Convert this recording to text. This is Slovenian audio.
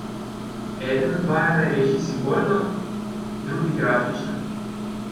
Eden od vaju naj reši simbolno, drugi grafično.